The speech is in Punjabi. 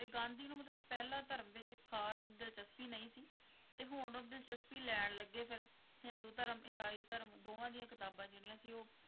ਤੇ ਗਾਂਧੀ ਨੂੰ ਮਤਲੱਬ ਪਹਿਲਾ ਧਾਰਮ ਵਿੱਚ ਖਾਸ ਦਿਲਚਸਪੀ ਨਹੀਂ ਸੀ, ਤੇ ਹੁਣ ਉਹ ਦਿਲਚਸਪੀ ਲੈਣ ਲੱਗੇ ਫੇਰ, ਹਿੰਦੂ ਧਰਮ, ਇਸਾਈ ਧਰਮ, ਦੋਵਾਂ ਦੀਆਂ ਕਿਤਾਬਾਂ ਜਿਹੜੀਆਂ ਸੀ ਉਹ